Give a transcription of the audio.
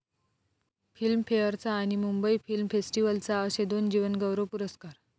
फिल्मफेअरचा आणि मुंबई फिल्म फेस्टिव्हलचा असे दोन जीवनगौरव पुरस्कार